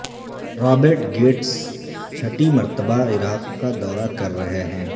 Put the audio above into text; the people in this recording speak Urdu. رابرٹ گیٹس چھٹی مرتبہ عراق کا دورہ کررہے ہیں